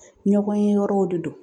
Ɲɔgɔn ye yɔrɔw de don